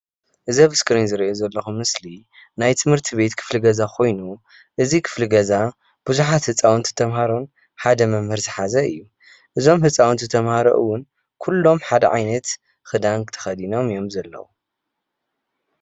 እዚ ኣብ እስክሪ ዝሪኦ ዘለኩ ምስሊ ናይ ት/ት ቤት ክፍሊ ገዛ ኮይኑ እዚ ክፍሊ ገዛ ብዙሓት ህፃውንቲ ተምሃሮን ሓደ መምህር ዝሓዘ እዩ፣ እዞም ህፃውንቲ ተምሃሮ እዉን ኩሎም ሓደ ዓይነት ክዳን ተከዲኖም እዮም ዘለው፡፡